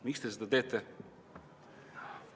Miks te seda teete?